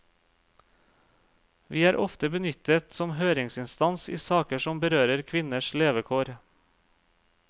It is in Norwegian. Vi er ofte benyttet som høringsinstans i saker som berører kvinners levekår.